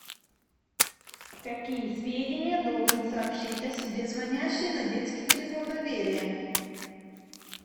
какие сведения должен сообщить о себе звонящий на детский телефон доверия